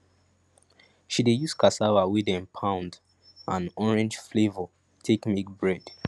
she dey use cassava wey de pound and orange flavour take make bread